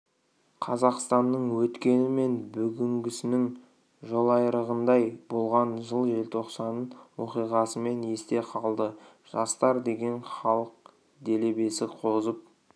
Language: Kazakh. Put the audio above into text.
қазақстанның өткені мен бүгінгісінің жолайрығындай болған жыл желтоқсан оқиғасымен есте қалды жастар деген халық делебесі қозып